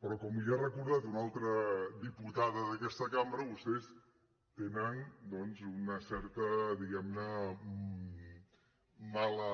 però com li ha recordat una altra diputada d’aquesta cambra vostès tenen doncs una certa diguem ne mala